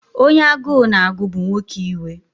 Onye agụụ na-agụ bụ nwoke iwe.